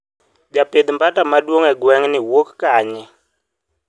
japidh bata maduong e gwengni wuok kanye?